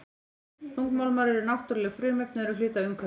Þungmálmar eru náttúruleg frumefni og eru hluti af umhverfinu.